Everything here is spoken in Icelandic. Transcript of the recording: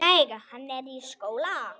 Nei, hann er í skóla.